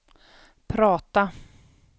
prata